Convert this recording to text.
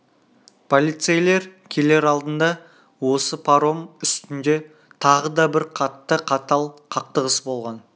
полицейлер келер алдында осы паром үстінде тағы да бір қатты қатал қақтығыс болған